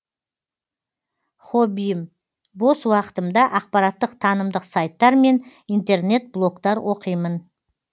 хоббиім бос уақытымда ақпараттық танымдық сайттар мен интернет блогтар оқимын